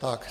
Tak.